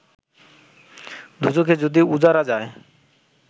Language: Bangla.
দোযখে যদি ওঝারা যায়